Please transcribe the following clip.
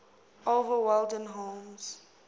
oliver wendell holmes